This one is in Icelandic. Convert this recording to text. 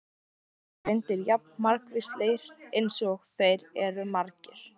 Skilnaðir eru reyndar jafn margvíslegir eins og þeir eru margir.